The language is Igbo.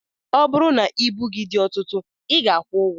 Ọ bụrụ na ibu gị dị ọtụtụ I ga-akwụ ụgwọ.